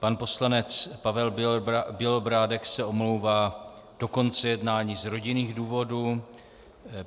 Pan poslanec Pavel Bělobrádek se omlouvá do konce jednání z rodinných důvodů.